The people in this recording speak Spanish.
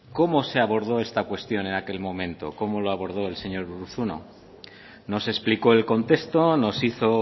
cómo se abordó esta cuestión en aquel momento cómo lo abordó el señor urruzuno nos explicó el contexto nos hizo